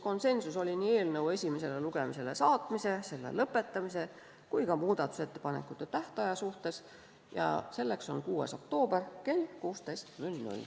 Konsensus oli nii eelnõu esimesele lugemisele saatmise, selle lõpetamise kui ka muudatusettepanekute tähtaja suhtes, viimati nimetatu on 6. oktoober kell 16.